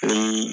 Ni